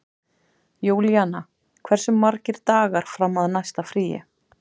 Júlíanna, hversu margir dagar fram að næsta fríi?